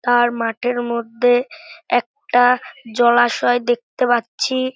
আর মাঠের মধ্যে একটা জলাশয় দেখতে পাচ্ছি ।